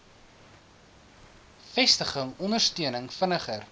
vestiging ondersteuning vinniger